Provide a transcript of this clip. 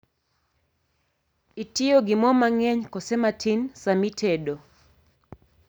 Itiyo gi moo mang'eny koso matin saa mitedo?